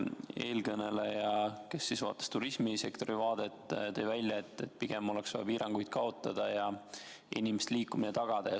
Eelkõneleja, kes vaatas turismisektorit, tõi välja, et pigem oleks vaja piiranguid kaotada ja inimeste liikumine tagada.